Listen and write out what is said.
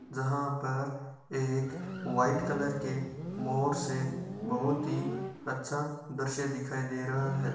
जहा पर एक व्हाइट कलर का मोर है। बहुत ही अच्छा दर्शय दिखाई दे रहा हैं।